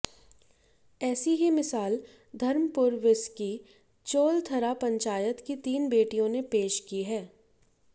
ऐसी ही मिसाल धर्मपुर विस की चोलथरा पंचायत की तीन बेटियों ने पेश की है